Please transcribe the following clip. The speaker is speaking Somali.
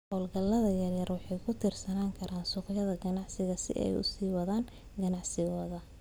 Hawlgallada yaryar waxay ku tiirsanaan karaan suuqyada ganacsiga si ay u sii wataan ganacsigooda.